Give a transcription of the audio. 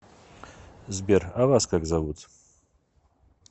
сбер а вас как зовут